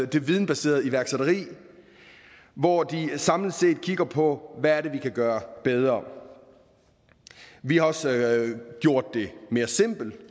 det videnbaserede iværksætteri hvor de samlet set kigger på hvad det er vi kan gøre bedre vi har også gjort det mere simpelt